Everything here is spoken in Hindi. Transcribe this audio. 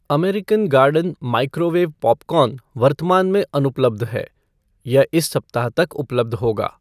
अमेरिकन गार्डन माइक्रोवेव पॉपकॉर्न वर्तमान में अनुपलब्ध है, यह इस सप्ताह तक उपलब्ध होगा।